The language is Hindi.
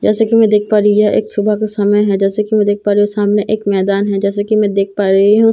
जैसा कि मैं देख पा रही हूं यह एक सुबह का समय है जैसा कि मैं देख पा रही हूं एक मैदान है जैसे कि मैं देख पा रही हूं यहां--